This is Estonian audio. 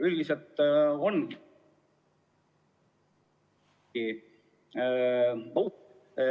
Üldiselt on ......